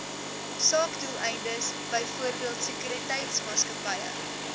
sakedoeleindes byvoorbeeld sekuriteitsmaatskappye